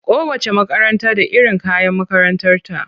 Kowacce makaranta da iron kayan makarantarta.